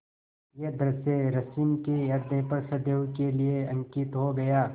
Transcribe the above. यह दृश्य रश्मि के ह्रदय पर सदैव के लिए अंकित हो गया